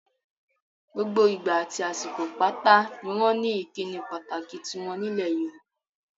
Gbogbo ìgbà àti àsìkò pátá ni wọ́n ní ìkíni pàtàkì tiwọn nílẹ̀ Yorùbá.